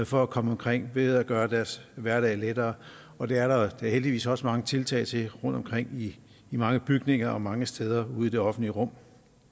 for at komme omkring ved at gøre deres hverdag lettere og det er der heldigvis også mange tiltag til rundtomkring i mange bygninger og mange steder ude i det offentlige rum